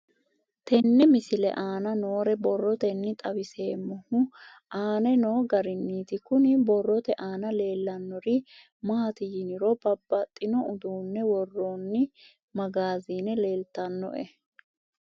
Tenne misile aana noore borroteni xawiseemohu aane noo gariniiti. Kunni borrote aana leelanori maati yiniro babbaxino uduune woroonni magaazine leeltanoe.